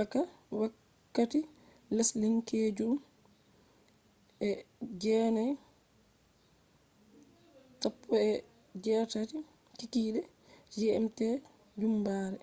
a. m. wakkati lesdinkeejum 09:19p.m. gmt jumbare